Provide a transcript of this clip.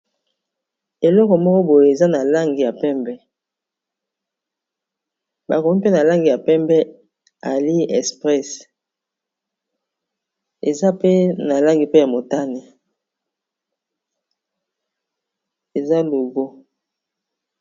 eloko moko boye eza na lange ya pembe bakomgi mpe na langi ya pembe alli espresse eza pe na langi pe ya motane eza logo